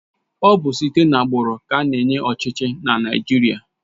Ọ bụ site na agbụrụ ka ana-enye ọchịchị na Naịjirịa